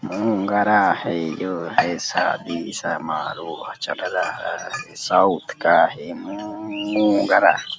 उम गरा है जो है शादी समारोह चल रहा है। साउथ का है गरा।